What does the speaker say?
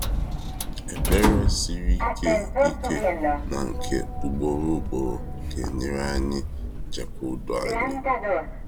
Ekpere siri ike ike na nke ugboro ugboro ga-enyere anyị chekwa udo anyị.